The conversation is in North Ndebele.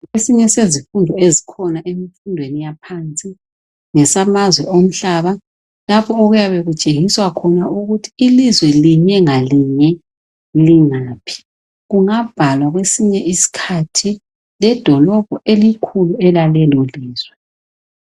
esinye sezifundo ezikhona emfundweni yaphansi ngesamazwe omhlaba lapho okuyabe kutshengiswa khona ukuthi ilizwe ngalinye ngalinye lingaphi kungabhalwa kwesinye isikhathi ledolobho elikhulu elalelo lizwe